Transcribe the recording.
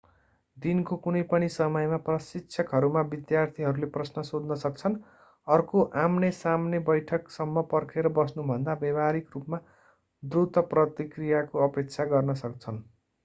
दिनको कुनै पनि समयमा प्रशिक्षकहरूमा विद्यार्थीहरूले प्रश्न सोध्न सक्छन् अर्को आमने सामने बैठक सम्म पर्खेर बस्नु भन्दा व्यावहारिक रूपमा द्रुत प्रतिक्रियाको अपेक्षा गर्न सक्छन्